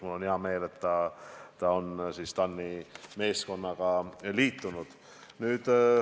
Mul on hea meel, et ta ongi TAN-i meeskonnaga liitunud.